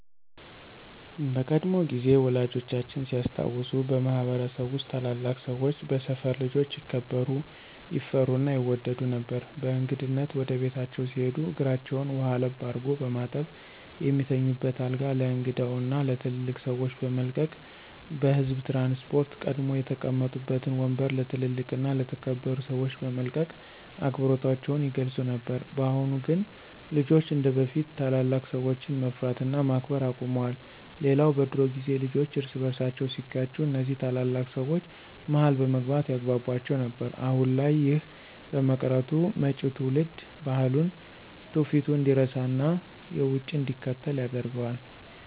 በቀድሞ ጊዜ ወላጆቻችን ሲያስታውሱ በማህበረሰብ ውስጥ ታላላቅ ሰወች በሰፈር ልጆች ይከበሩ፣ ይፈሩ እና ይወደዱ ነበር። በእንግድነት ወደ ቤታቸው ሲሄዱ እግራቸውን ውሃ ለብ አድርጎ በማጠብ፣ የሚተኙበትን አልጋ ለእንግዳው እና ለትልልቅ ሰወች በመልቀቅ፤ በህዝብ ትራንስፖርት ቀድመው የተቀመጡበትን ወምበር ለ ትልልቅ እና የተከበሩ ሰወች በመልቀቅ አክብሮታቸውን ይገልፁ ነበር። በአሁን ግን ልጆች እንደበፊት ታላላቅ ሰወችን መፍራት እና ማክበር አቁመዋል። ሌላው በድሮ ጊዜ ልጆች እርስ በርሳቸው ሲጋጩ እነዚ ታላላቅ ሰወች መሀል በመግባት ያግቧቧቸው ነበር። አሁን ላይ ይህ በመቅረቱ መጪው ትውልድ ባህሉን፣ ትውፊቱን እንዲረሳና የውጩን እንዲከተል ያደርገዋል።